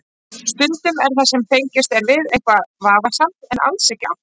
Stundum er það sem fengist er við eitthvað vafasamt en alls ekki alltaf.